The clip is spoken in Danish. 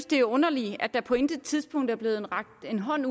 det er underligt at der på intet tidspunkt er blevet rakt en hånd